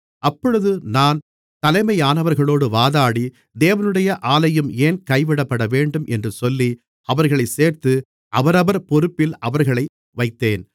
அப்பொழுது நான் தலைமையானவர்களோடு வாதாடி தேவனுடைய ஆலயம் ஏன் கைவிடப்படவேண்டும் என்று சொல்லி அவர்களைச் சேர்த்து அவரவர் பொறுப்பில் அவர்களை வைத்தேன்